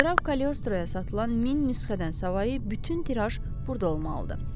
Qraf Kaliostroyaya satılan min nüsxədən savayı bütün tiraj burda olmalıdır.